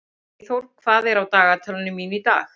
Eyþór, hvað er á dagatalinu mínu í dag?